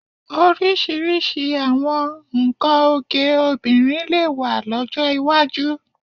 Oríṣiríṣi àwọn nnkan oge obìnrin lè wà lọ́jọ́ iwájú